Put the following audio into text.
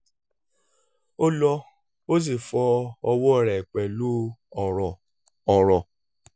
ó lọ ó sì fọ ọwọ́ rẹ̀ pẹ̀lú ọ̀rọ̀ ọ̀rọ̀